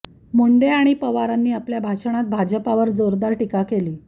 मुंडे आणि पवारांनी आपल्या भाषणात भाजपावर जोरदार टीका केली